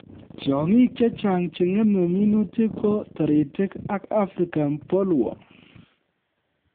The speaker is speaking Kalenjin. Tiong'ik che chang che ng'eme minutik ko taritik ak African bollworm